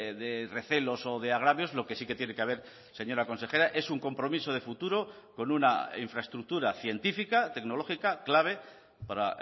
de recelos o de agravios lo que sí que tiene que haber señora consejera es un compromiso de futuro con una infraestructura científica tecnológica clave para